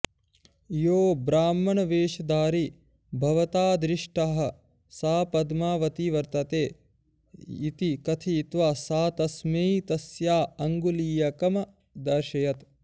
यो ब्राह्मणवेशधारी भवता दृष्टः सा पद्मावती वर्तते इति कथयित्वा सा तस्मै तस्या अङ्गुलीयकमदर्शयत्